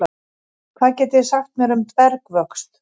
Hvað getið þið sagt mér um dvergvöxt?